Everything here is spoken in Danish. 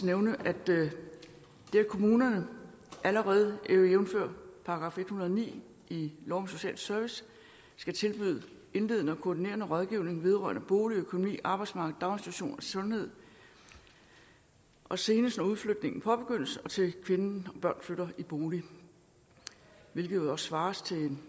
nævne at kommunerne allerede jævnfør § en hundrede og ni i lov om social service skal tilbyde indledende og koordinerende rådgivning vedrørende bolig økonomi arbejdsmarked daginstitution og sundhed senest når udflytningen påbegyndes og til kvinden og børnene flytter i bolig hvilket også svarer